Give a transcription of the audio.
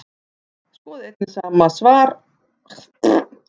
Skoðið einnig svar sama höfundar við spurningunni Hvers vegna reiðist fólk?